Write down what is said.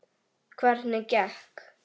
Hvernig gekk?